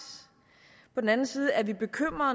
på den anden side er vi bekymret